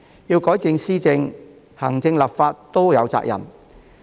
要改善施政，行政和立法雙方皆有責任。